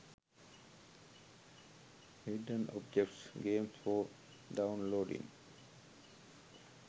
hidden objects games for downloading